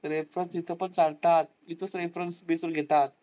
reference इथे पण चालतात. इथेच reference prefer घेतात.